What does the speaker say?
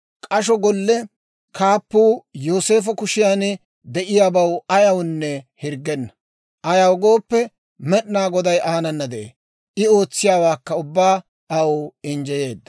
K'asho golle kaappuu Yooseefo kushiyaan de'iyaabaw ayawunne hirggenna; ayaw gooppe, Med'inaa Goday aanana de'ee; I ootsiyaawaakka ubbaa aw injjeyeedda.